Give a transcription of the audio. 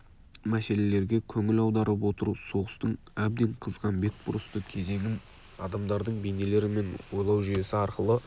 мәселелерге көңіл аударып отыру соғыстың әбден қызған бетбұрысты кезеңін адамдардың бейнелері мен ойлау жүйесі арқылы